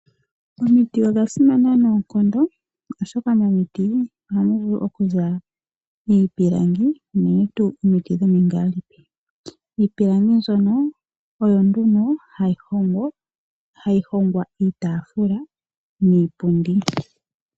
Omiti odha simana noonkondo oshoka momiti ohamu vulu okuza iipilangi unene tuu omiti dhomingaalipi. Iipilangi ndyono oyo hayi hongwa iitaafula niipundi.